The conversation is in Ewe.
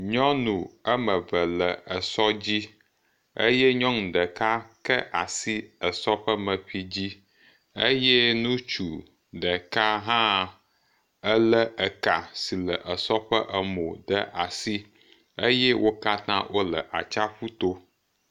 Nyɔnu eme eve le esɔ dzi eye nyɔnu ɖeka ke asi esɔ ƒe meƒi dzi eye nutsu ɖeka hã ele eka si le esɔ ƒe emo ɖe asi eye wo katã wole atsaƒu to.